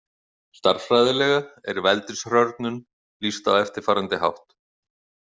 Stærðfræðilega er veldishrörnun lýst á eftirfarandi hátt